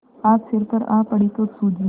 आज सिर पर आ पड़ी तो सूझी